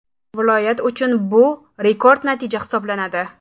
Viloyat uchun bu rekord natija hisoblanadi.